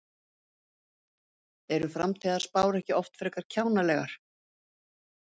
Eru framtíðarspár ekki oft frekar kjánalegar?